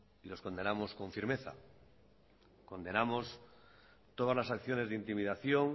y los condenamos con firmeza condenamos todas las acciones de intimidación